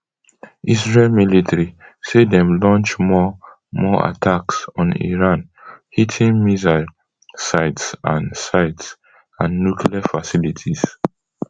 israel military say dem launch more more attacks on iran hitting missile sites and sites and nuclear facilities